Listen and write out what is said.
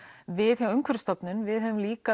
við hjá Umhverfisstofnun við höfum líka